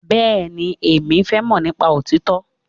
Bẹ́ẹ̀ni, Èmi fẹ́ mọ̀ nípa òtítọ́.